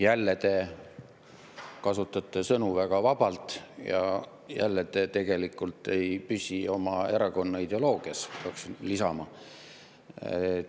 Jälle te kasutate sõnu väga vabalt ja jälle te tegelikult ei püsi oma erakonna ideoloogias, peaksin lisama.